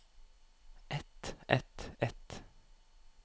et et et